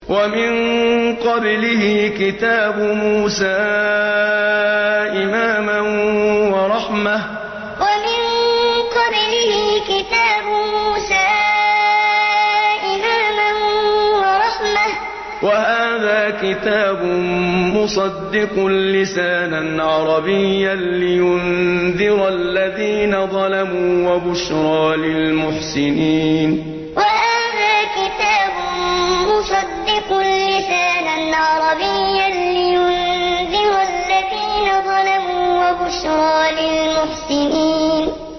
وَمِن قَبْلِهِ كِتَابُ مُوسَىٰ إِمَامًا وَرَحْمَةً ۚ وَهَٰذَا كِتَابٌ مُّصَدِّقٌ لِّسَانًا عَرَبِيًّا لِّيُنذِرَ الَّذِينَ ظَلَمُوا وَبُشْرَىٰ لِلْمُحْسِنِينَ وَمِن قَبْلِهِ كِتَابُ مُوسَىٰ إِمَامًا وَرَحْمَةً ۚ وَهَٰذَا كِتَابٌ مُّصَدِّقٌ لِّسَانًا عَرَبِيًّا لِّيُنذِرَ الَّذِينَ ظَلَمُوا وَبُشْرَىٰ لِلْمُحْسِنِينَ